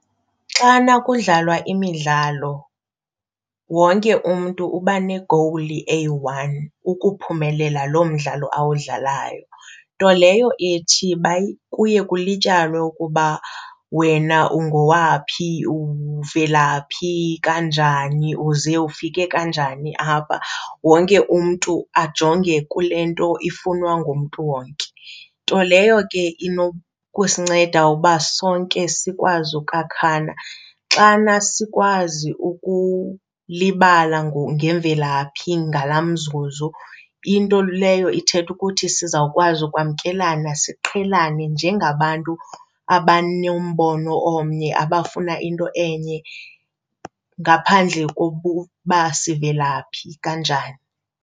Xana kudlalwa imidlalo wonke umntu uba ne-goal eyi-one, ukuphumelela lo mdlalo awudlalayo. Nto leyo ethi kuye kulityalwe ukuba wena ungowaphi, uvela phi, kanjani, uze ufike kanjani apha, wonke umntu ajonge kule nto ifunwa ngumntu wonke, nto leyo ke inokusinceda uba sonke sikwazi ukwakhana. Xana sikwazi ukulibala ngemvelaphi ngalaa mzuzu, into leyo ithetha ukuthi siza ukwazi ukwamkelana siqhelane njengabantu abanombono omnye, abafuna into enye ngaphandle kokuba sivela phi, kanjani.